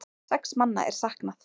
Sex manna er saknað.